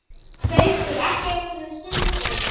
Haukur: Ekki einu sinni stundum?